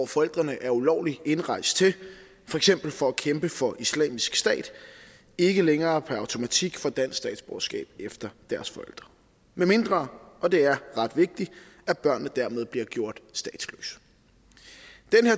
forældrene ulovligt er indrejst for eksempel for at kæmpe for islamisk stat ikke længere per automatik få dansk statsborgerskab efter deres forældre medmindre og det er ret vigtigt børnene dermed bliver gjort statsløse